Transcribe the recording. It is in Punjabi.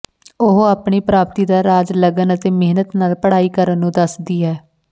ਉਹ ਆਪਣੀ ਪ੍ਰਾਪਤੀ ਦਾ ਰਾਜ ਲਗਨ ਅਤੇ ਮਿਹਨਤ ਨਾਲ ਪੜ੍ਹਾਈ ਕਰਨ ਨੂੰ ਦੱਸਦੀ ਹੈ